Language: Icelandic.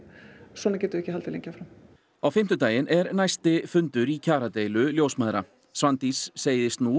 svona getum við ekki haldið lengi áfram á fimmtudaginn er næsti fundur boðaður í kjaradeilu ljósmæðra Svandís segist nú